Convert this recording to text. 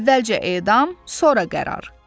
Əvvəlcə edam, sonra qərar.